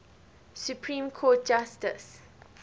supreme court justice